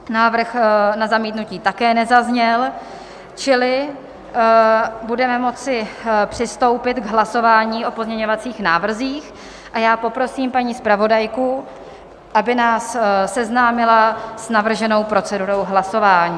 Návrh na zamítnutí také nezazněl, čili budeme moci přistoupit k hlasování o pozměňovacích návrzích a já poprosím paní zpravodajku, aby nás seznámila s navrženou procedurou hlasování.